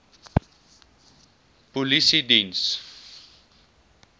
polisiediens